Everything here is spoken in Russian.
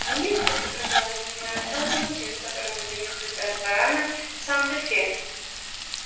внизу как оказалось меня ожидал лимузин в котором мы доехали до ресторана санта фе